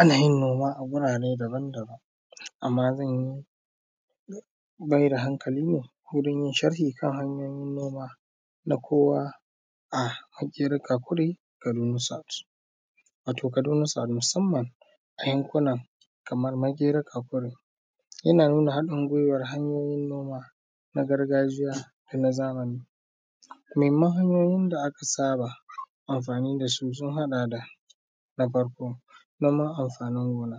Ana yin noman a gurare daban-daban amma zan mai da hankali ne wurin yi sharhi kan hanyoyin noma na kowa a Makera Kakuri Kaduna South, wato Kaduna South musamman a yankuna kamar Makera Kakuri ana nuna haɗin guwan hanyoyin noma na gargajiya da na zamani, muhimman hanyoyin da aka saba amfani da su sun haɗa da, na farko noman amfanin gona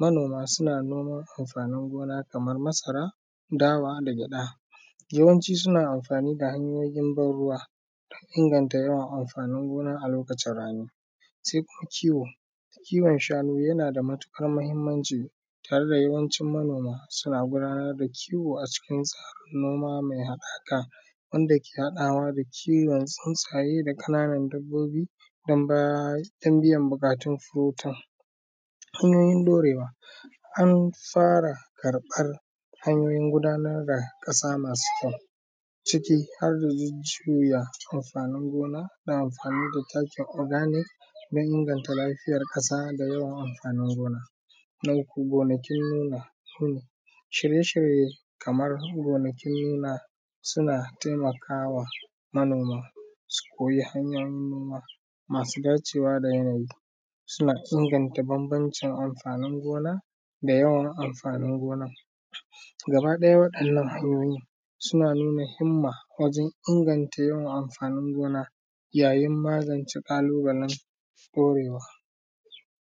manoma suna noman amfanin gona kamar masara, dawa da gyaɗa yawanci suna amfani da hanyoyin ban ruwa inganta yawan amfanin gona a lokacin rani, sai kuma kiwo kiwon shanu yana da matuƙar muhimmanci tare da yawancin manoma suna gudanar da kiwo a cikin sa, noma mai hakaka inda ke haɗawa da kiwon tsunsaye da kananan dabbobi don biyan bukatun su huta, hanyoyin ɗorewa an tsara karɓar hanyoyin gudanar da ƙasa masu kyau ciki juya amfanin gona da amfani da takin organic don inganta lafiyar ƙasa da yawan amfanin gona, gonakin noma shirye-shirye kamar gonakin noma suna taimakawa manoma su koyi hanyoyin noma masu dacewa da waɗannan suna inganta bambamcin amfanin gona da yawan amfanin gonan, gaba ɗaya wannan hanyoyin suna nuna himma wajen inganta yawan amfanin gona yayin magance kalubalan ɗorewa.